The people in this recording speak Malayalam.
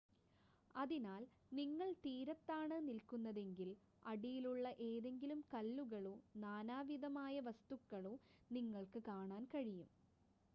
അതിനാൽ നിങ്ങൾ തീരത്താണ് നിൽക്കുന്നതെങ്കിൽ അടിയിലുള്ള ഏതെങ്കിലും കല്ലുകളോ നാനാവിധമായ വസ്തുക്കളോ നിങ്ങൾക്ക് കാണാൻ കഴിയും